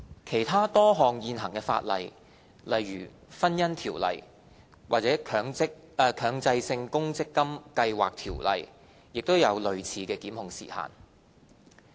其他多項現行法例，例如《婚姻條例》或《強制性公積金計劃條例》亦有類似的檢控時限。